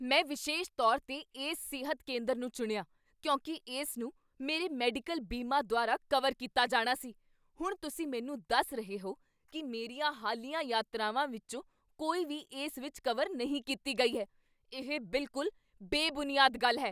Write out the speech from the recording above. ਮੈਂ ਵਿਸ਼ੇਸ਼ ਤੌਰ 'ਤੇ ਇਸ ਸਿਹਤ ਕੇਂਦਰ ਨੂੰ ਚੁਣਿਆ ਕਿਉਂਕਿ ਇਸ ਨੂੰ ਮੇਰੇ ਮੈਡੀਕਲ ਬੀਮਾ ਦੁਆਰਾ ਕਵਰ ਕੀਤਾ ਜਾਣਾ ਸੀ। ਹੁਣ ਤੁਸੀਂ ਮੈਨੂੰ ਦੱਸ ਰਹੇ ਹੋ ਕੀ ਮੇਰੀਆਂ ਹਾਲੀਆ ਯਾਤਰਾਵਾਂ ਵਿੱਚੋਂ ਕੋਈ ਵੀ ਇਸ ਵਿੱਚ ਕਵਰ ਨਹੀਂ ਕੀਤੀ ਗਈ ਹੈ? ਇਹ ਬਿਲਕੁਲ ਬੇਬੁਨਿਆਦ ਗੱਲ ਹੈ !